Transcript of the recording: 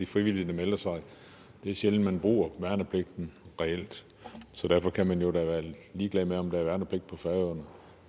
frivillige der melder sig det er sjældent man reelt bruger værnepligten så derfor kan man da være ligeglad med om der er værnepligt på færøerne